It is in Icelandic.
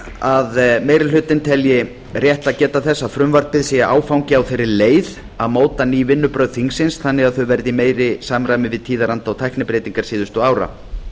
að meiri hlutinn telji rétt að geta þess að frumvarpið sé áfangi á þeirri leið að móta ný vinnubrögð þingsins þannig að þau verði í meira samræmi við tíðaranda og tæknibreytingar síðustu ára